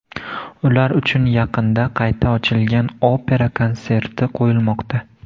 Ular uchun yaqinda qayta ochilgan opera konserti qo‘yilmoqda.